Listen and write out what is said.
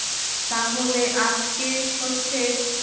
তাহলে আজকে হচ্ছে